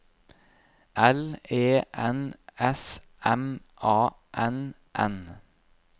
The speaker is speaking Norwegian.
L E N S M A N N